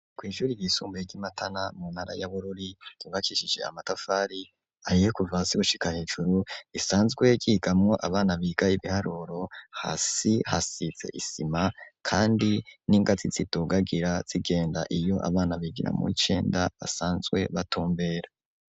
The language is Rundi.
Kw'ishuri r yisumbuye ry'imatana mu ntara ya bururi zibakishije amatafari ahiyekuvasi gushika hejuru isanzwe gigamo abana biga y'ibiharuro hasi hasize isima kandi n'ingazi tsitugagira zigenda iyo abana bigira mu icenda asanzwe batombera.